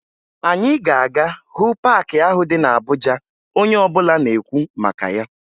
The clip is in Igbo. Anyị ga-aga hụ paakị ahụ dị na Abuja onye ọbụla na-ekwu maka ya